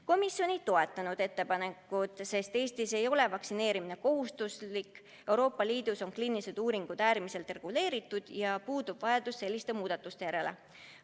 Komisjon ei toetanud ettepanekut, sest Eestis ei ole vaktsineerimine kohustuslik, Euroopa Liidus on kliinilised uuringud äärmiselt reguleeritud ja puudub vajadus selliste muudatuste järele.